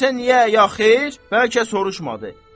Desə niyə ya xeyr, bəlkə soruşmadı.